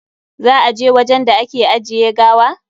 Za a je wajen da ake ajiye gawa?